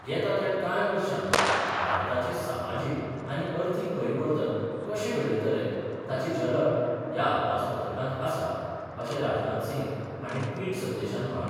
येता त्या कांय वर्षांत भारताचें समाजीक आनी अर्थीक परिवर्तन कशें घडयतले ताची झलक ह्या अदमासपत्रकांत आसा अशें राजनाथ सिंह हांणी ट्विट संदेशांत म्हळां.